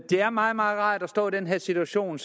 er meget meget rart at stå i den her situation